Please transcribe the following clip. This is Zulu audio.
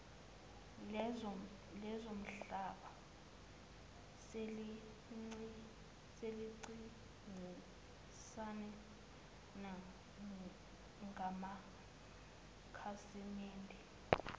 lezomhlaba selincintisana ngamakhasimede